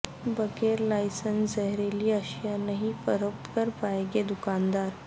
بغیر لائسنس زہریلی اشیاء نہیں فروخت کرپائیں گے د کاندار